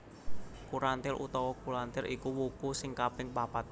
Kurantil utawa Kulantir iku wuku sing kaping papat